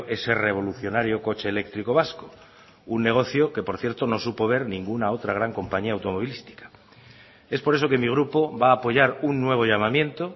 ese revolucionario coche eléctrico vasco un negocio que por cierto no supo ver ninguna otra gran compañía automovilística es por eso que mi grupo va a apoyar un nuevo llamamiento